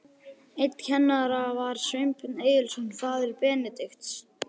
Einn kennara var Sveinbjörn Egilsson, faðir Benedikts.